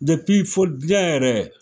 fol jɛn yɛrɛ